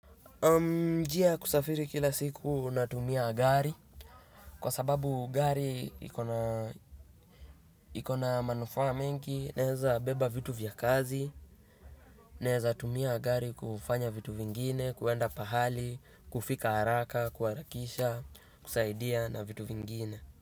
Njia ya kusafiri kila siku natumia gari kwa sababu gari iko na manufaa mengi naeza beba vitu vya kazi naeza tumia gari kufanya vitu vingine kwenda pahali kufika haraka kuharakisha kusaidia na vitu vingine.